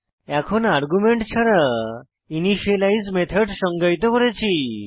এখন আর্গুমেন্ট ছাড়া initialise method সংজ্ঞায়িত করেছি